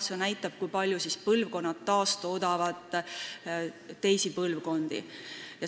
See näitab, kui palju põlvkonnad teisi põlvkondi taastoodavad.